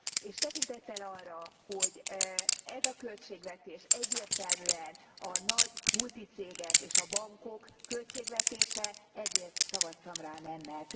És tekintettel arra, hogy ez a költségvetés egyértelműen a nagy multi cégek és a bankok költségvetése, ezért szavaztam rá nemmel.